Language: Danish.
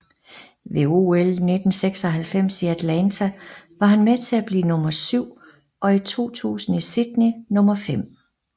Ved OL 1996 i Atlanta var han med til at blive nummer syv og i 2000 i Sydney nummer fem